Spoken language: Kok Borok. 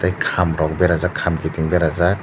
kam rok berajak kam kiting kiting bera jak.